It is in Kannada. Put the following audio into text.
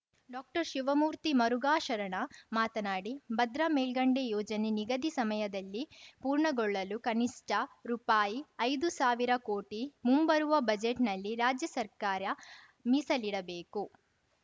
ಡಾಕ್ಟರ್ಶಿವಮೂರ್ತಿ ಮರುಘಾಶರಣ ಮಾತನಾಡಿ ಭದ್ರಾ ಮೇಲ್ಗಂಡೆ ಯೋಜನೆ ನಿಗದಿ ಸಮಯದಲ್ಲಿ ಪೂರ್ಣಗೊಳ್ಳಲು ಕನಿಷ್ಠ ರೂಪಾಯಿಐದು ಸಾವಿರ ಕೋಟಿ ಮುಂಬರುವ ಬಜೆಟ್‌ ನಲ್ಲಿ ರಾಜ್ಯ ಸರ್ಕಾರ ಮೀಸಲಿಡಬೇಕು